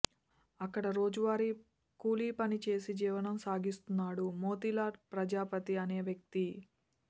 అక్కడ రోజువారీ కూలీ పనిచేసి జీవనం సాగిస్తున్నాడు మోతీలాల్ ప్రజాపతి అనే వ్యక్తి